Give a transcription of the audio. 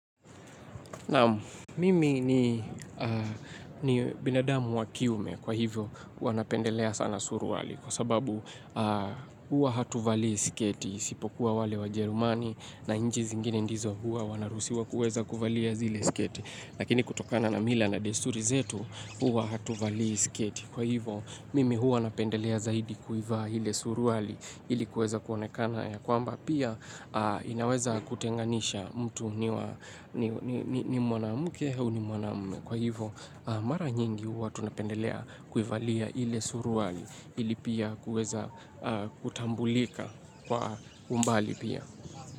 Nam mimi ni binadamu wa kiume kwa hivyo huwa napendelea sana suruali kwa sababu hua hatuvalii siketi isipokuwa wale wajerumani na nchi zingine ndizo hua wanaruhusiwa kuweza kuvalia zile siketi. Lakini kutokana na mila na desturi zetu huwa hatuvalii sketi. Kwa hivo mimi huwa napendelea zaidi kuiva ile suruali ilikuweza kuonekana ya kwamba pia inaweza kutenganisha mtu ni mwanamke au ni mwanamume kwa hivyo mara nyingi huwa tunapendelea kuivalia ile suruali ili pia kuweza kutambulika kwa umbali pia.